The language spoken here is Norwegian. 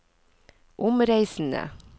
omreisende